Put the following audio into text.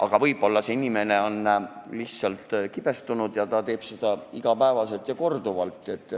Aga võib-olla see inimene on lihtsalt kibestunud ja teeb seda iga päev ja korduvalt.